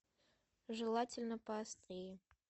желательно поострее